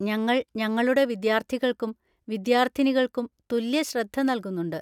ഞങ്ങൾ ഞങ്ങളുടെ വിദ്യാർത്ഥികൾക്കും വിദ്യാർത്ഥിനികൾക്കും തുല്യ ശ്രദ്ധ നൽകുന്നുണ്ട്.